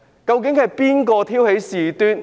究竟是誰挑起事端？